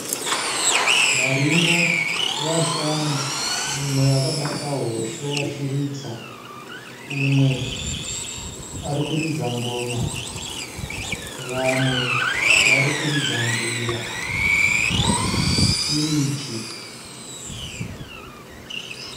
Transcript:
Varume vashanu umwe akabata hosho achiridza. Umwe arikuridza ngoma, umwe arikuridza mbira.